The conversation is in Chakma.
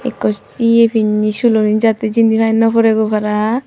ekkos ye pinney suloni jattey jinni pai naw poreigoi para.